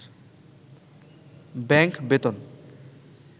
bank বেতন